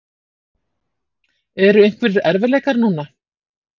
Eru einhverjir erfiðleikar núna?